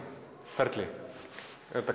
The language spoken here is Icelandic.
ferli er þetta